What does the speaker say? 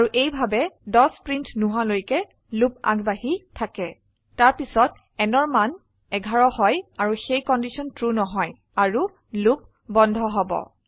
আৰু এইভাবে 10 প্ৰিন্ট নোহোৱালৈকে লুপ আগবাঢ়ি থাকে তাৰ পিছত nঅৰ মান 11 হয় আৰু সেই কন্ডিশন ট্ৰু নহয় আৰু লুপ বন্ধ হব